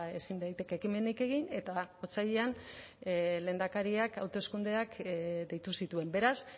ezin daiteke ekimenik egin eta otsailean lehendakariak hauteskundeak deitu zituen beraz